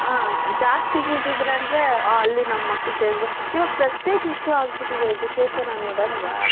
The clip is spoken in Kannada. ಆ ಜಾಸ್ತಿ fees ಇದೆ ಅಂದ್ರೆ ಅಲ್ಲಿ ನಮ್ಮ ಮಕ್ಕಳು ಸೇರಬೇಕು.ಇವಾಗ prestige issue ಆಗ್ಬಿಟ್ಟಿದೆ education ಅನ್ನೋದು ಆಲ್ವಾ?